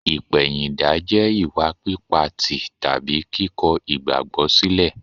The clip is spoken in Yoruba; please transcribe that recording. Ìpẹ̀yìndà jẹ́ ìwà pípa tì tàbí kíkọ igbagbo sílẹ̀.